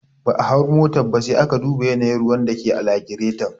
Ba a hau motar ba, sai aka duba yanayin ruwan da ke lagireto